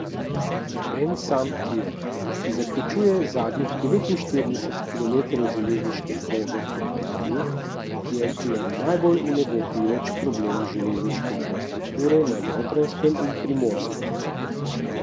En sam tir, ki zaključuje zadnjih devetinštirideset kilometrov železniške proge proti morju, je le najbolj vnebovpijoč problem železniške infrastrukture na Notranjskem in Primorskem.